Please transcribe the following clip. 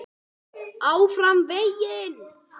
ÁFRAM VEGINN.